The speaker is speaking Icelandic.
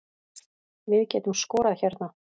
Við getum skorað hérna